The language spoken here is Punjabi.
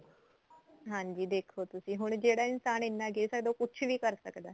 ਹਾਂਜੀ ਦੇਖੋ ਤੁਸੀਂ ਹੁਣ ਜਿਹੜਾ ਇਨਸਾਨ ਇੰਨਾ ਗਿਰ ਸਕਦਾ ਉਹ ਕੁੱਝ ਵੀ ਕਰ ਸਕਦਾ